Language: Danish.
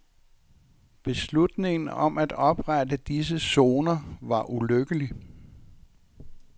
Beslutningen om at oprette disse sikre zoner var ulykkelig.